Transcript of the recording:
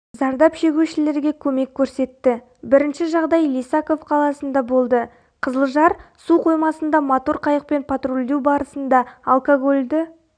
зардап шегушілерге көмек көрсетті бірінші жағдай лисаков қаласында болды қызылжар су қоймасында мотор қайықпен патрульдеу барысында алкогольді